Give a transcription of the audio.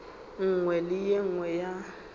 nngwe le ye nngwe ya